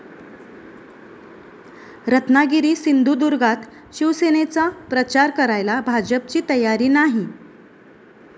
रत्नागिरी सिंधुदुर्गात शिवसेनेचा प्रचार करायला भाजपची तयारी नाही